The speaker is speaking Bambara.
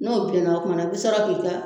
N'o bilenna o kuma na i bi sɔrɔ k'i ka